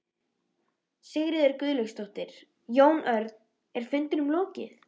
Sigríður Guðlaugsdóttir: Jón Örn, er fundinum lokið?